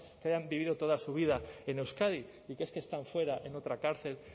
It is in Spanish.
hayan vivido toda su vida en euskadi y que es que están fuera en otra cárcel